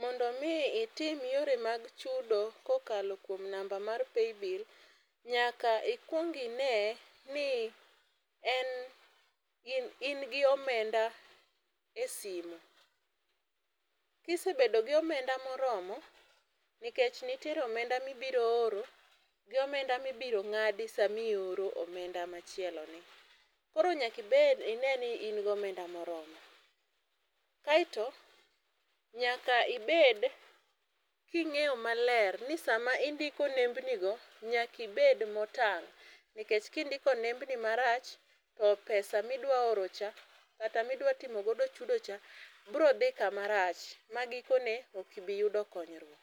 Mondo mi itim yore mag chudo kokalo kuom namba mar paybill nyaka, ikwong ine ni en in gi omenda e sime. Kisebedo gi omenda e moromo nikech ntie omenda mibiro oro gi omenda mibiro ng'adi sami oro omenda machielo ni. Koro nyaki bed ine ni in gomenda moromo. Kaito nyaka ibed king'eyo maler ni sama indiko nembni go nyaki bed motang' nikech kindiko nembni marach to pesa midwa oro cha kata midwa timo godo chudo cha bro dhi kuma rach ma giko ne ok ibi yudo konyruok.